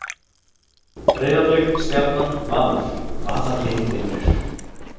Breiðablik, Stjarnan, Valur- hvaða lið vinnur?